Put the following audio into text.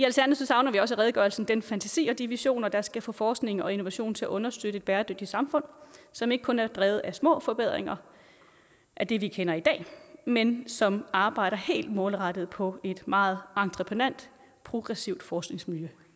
redegørelsen den fantasi og de visioner der skal få forskningen og innovationen til at understøtte et bæredygtigt samfund som ikke kun er drevet af små forbedringer af det vi kender i dag men som arbejder helt målrettet på et meget entreprenant progressivt forskningsmiljø